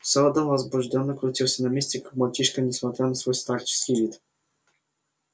сэлдон возбуждённо крутился на месте как мальчишка несмотря на свой старческий вид